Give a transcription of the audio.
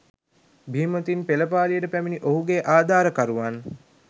බීමතින් පෙළපාලියට පැමිණි ඔහුගේ ආධාරකරුවන්